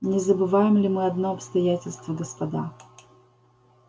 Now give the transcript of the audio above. не забываем ли мы одно обстоятельство господа